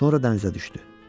Sonra dənizə düşdü.